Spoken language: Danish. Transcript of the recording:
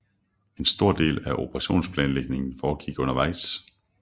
En stor del af operationsplanlægningen foregik undervejs